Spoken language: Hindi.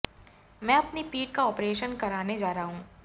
मैं अपनी पीठ का ऑपरेशन कराने जा रहा हूं